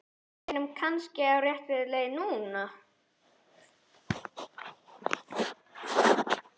Við erum kannski á réttri leið núna!